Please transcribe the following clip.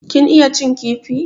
Kin iya cin kifi?